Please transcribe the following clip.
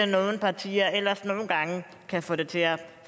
nogle partier ellers nogle gange kan få det til at